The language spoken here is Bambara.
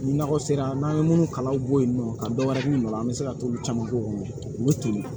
Ni nakɔ sera n'an ye minnu kalanw bɔ yen nɔ ka dɔ wɛrɛ kunna an bɛ se ka t'olu caman k'o kɔnɔ u bɛ toli